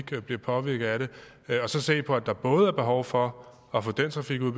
de bliver påvirket af den og så se på at der både er behov for at få den trafik ud